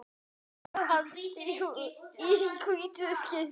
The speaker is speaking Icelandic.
Ég leit til lands.